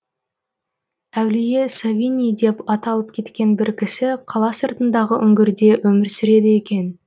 әулие савиний деп аталып кеткен бір кісі қала сыртындағы үңгірде өмір сүреді екен